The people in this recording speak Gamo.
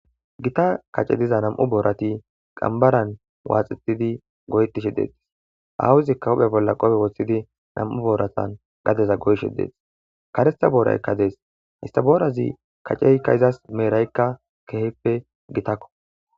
Gita kace diza nam7u boorati qambaran waaxitidi goyetishe deettis awuzikka huphe bolla qope woththidi nam7u booratan gadeza goyshe deet kareta boorayka dees hista boorazi kaceykka izas meeraykka kehippe gitakko.